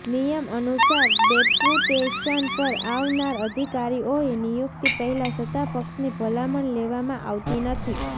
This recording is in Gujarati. નિયમ અનુસાર ડેપુટેશન પર આવનાર અધિકારીઓએ નિયુક્તિ પહેલાં સત્તાપક્ષની ભલામણ લેવામાં આવતી નથી